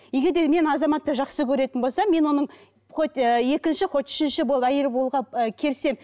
егер де мен азаматты жақсы көретін болсам мен оның хоть ы екінші хоть үшінші әйелі болуға ы келісемін